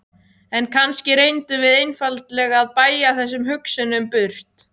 En kannski reyndum við einfaldlega að bægja þessum hugsunum burt.